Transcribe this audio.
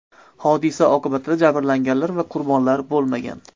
Hodisa oqibatida jabrlanganlar va qurbonlar bo‘lmagan.